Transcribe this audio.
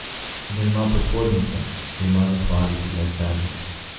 Da ima podpornike, se ima zahvaliti le sebi.